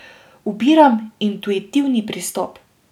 Ubiram intuitivni pristop.